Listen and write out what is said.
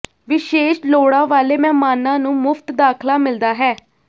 ਵਿਸ਼ੇਸ਼ ਲੋੜਾਂ ਵਾਲੇ ਮਹਿਮਾਨਾਂ ਨੂੰ ਮੁਫਤ ਦਾਖਲਾ ਮਿਲਦਾ ਹੈ